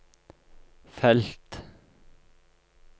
felt